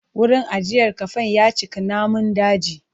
Wurin ajiyar kafen ya cika namun daji.